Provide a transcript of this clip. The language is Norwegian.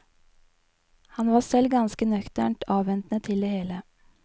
Han var selv ganske nøkternt avventende til det hele.